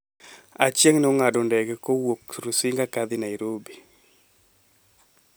Achieng' ne ong’ado ndege kowuok Rusinga ka dhi Nairobi